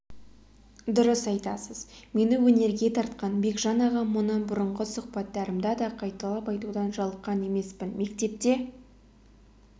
дұрыс айтасыз мені өнерге тартқан бекжан ағам мұны бұрынғы сұхбаттарымда да қайталап айтудан жалыққан емеспін мектепте